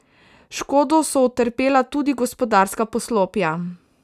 Škodo so utrpela tudi gospodarska poslopja.